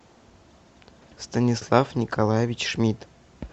станислав николаевич шмидт